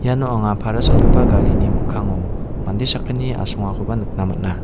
iano anga para salgipa garini mikkango mande sakgni asongakoba nikna man·a.